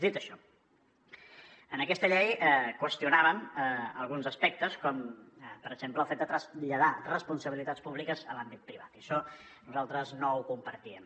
dit això en aquesta llei qüestionàvem alguns aspectes com per exemple el fet de traslladar responsabilitats públiques a l’àmbit privat i això nosaltres no ho compartim